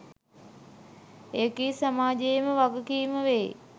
එකී සමාජයේම වගකීම වෙයි